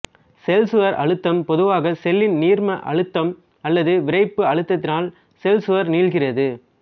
செல்சுவர் அழுத்தம் பொதுவாக செல்லின் நீர்ம அழுத்தம் அல்லது விறைப்பு அழுத்தத்தினால் செல்சுவர் நீள்கிறது